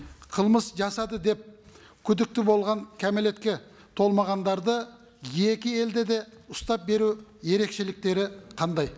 қылмыс жасады деп күдікті болған кәмелетке толмағандарды екі елде де ұстап беру ерекшеліктері қандай